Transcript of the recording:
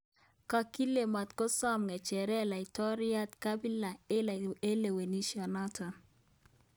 Kakile matkosom ng'echeret laitoryat Kabila eng kalewenisyenoto